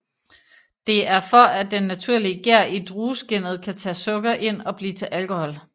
Det er for at den naturlige gær i drueskinnet kan tage sukker ind og blive til alkohol